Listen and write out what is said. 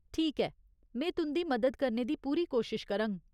ठीक ऐ, में तुं'दी मदद करने दी पूरी कोशश करङ।